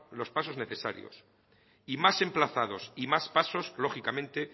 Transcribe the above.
los pasos necesarios y más emplazados y más pasos lógicamente